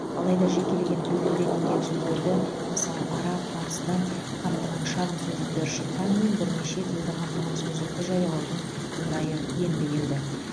алайда жекелеген тілдерден енген сөздерді мысалы араб парсыдан қамтыған шағын сөздіктер шыққанымен бірнеше тілді қамтыған сөздікті жариялаудың орайы енді келді